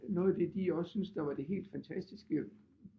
Noget af det de også syntes der var det helt fantastiske